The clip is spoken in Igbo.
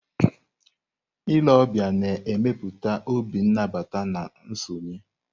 Ile ọbịa na-emepụta obi nabata na nsonye.